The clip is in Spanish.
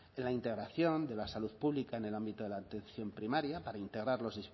en la integración de la salud pública en el ámbito de la atención primaria para integrar los